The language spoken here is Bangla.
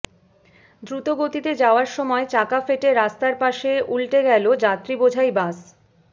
দ্রুতগতিতে যাওয়ার সময় চাকা ফেটে রাস্তার পাশে উল্টে গেলো যাত্রীবোঝাই বাস